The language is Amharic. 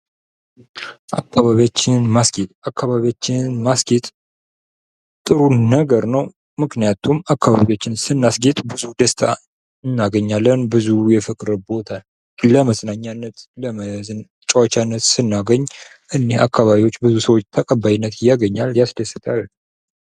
አካባቢያችንን ማስጌጥ፡- አካባቢያችንን ማስጌጥ ጥሩ ነገር ነው ፤ ምክንያቱም አካባቢያችንን ስናስጌጥ ብዙ ደስታ እናገኛለን። ለመዝናኛነት እና ለመጫወቻነት ስናገኝ በብዙ ሰዎች ተቀባይነት ያገኛል ቦታው።